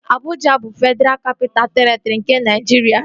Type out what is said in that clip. Abụja bụ Fedraa Kapitaa Terịtri nke Naịjiria